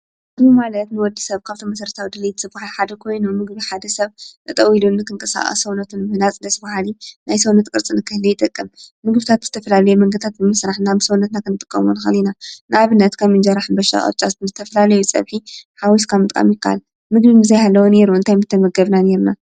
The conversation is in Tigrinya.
ምግቢ ማለት ንወዲ ሰብ ካብተም መስረታዊ ድልይት ዝብሃል ሓደ ኮይኖ ምግቢ ሓደ ሰብ ጠጠው ኢሉ ኽንቀሳቀስ ሰውነት ንምህናጽ ደስ ብሃሊ ናይ ሰውነት ቅርጽ ንክህለ ይጠቅም። ምግብታት ብዝተፈላሉየ መንገድታት ብምስራሕ ናብ ሰዉነትና ኽንጥቀሙሉ ንክእል ኢና። ንኣብነት ከም እንጀራ ፣ሕንበሻ ፣ቅጫ ዝተፍላለዩ ጸብሒ ሓዊስካ ምጥቃም ይከኣል ምግብ ዘይሃለወ ነይሩ እንታይ ምተመገብና ነይርና ?